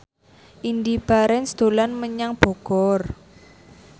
Indy Barens dolan menyang Bogor